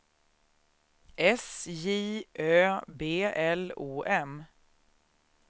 S J Ö B L O M